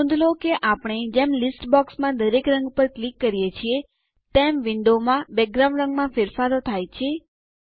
નોંધ લો કે આપણે જેમ લીસ્ટબોક્સમાં દરેક રંગ પર ક્લિક કરીએ છીએ તેમ વિન્ડો બેકગ્રાઉન્ડ રંગમાં ફેરફારો થાય છે